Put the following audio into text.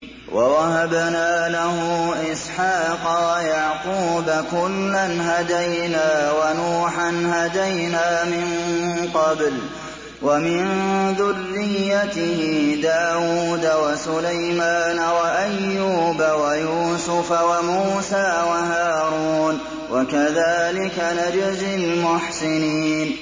وَوَهَبْنَا لَهُ إِسْحَاقَ وَيَعْقُوبَ ۚ كُلًّا هَدَيْنَا ۚ وَنُوحًا هَدَيْنَا مِن قَبْلُ ۖ وَمِن ذُرِّيَّتِهِ دَاوُودَ وَسُلَيْمَانَ وَأَيُّوبَ وَيُوسُفَ وَمُوسَىٰ وَهَارُونَ ۚ وَكَذَٰلِكَ نَجْزِي الْمُحْسِنِينَ